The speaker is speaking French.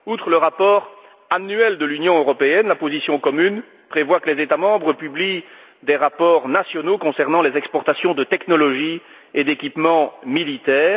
Outre le rapport annuel de l'Union européenne, la position commune prévoit que les États membres publient des rapports nationaux concernant les exportations de technologies et d'équipements militaires.